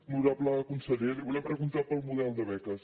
honorable conseller li volem preguntar pel model de beques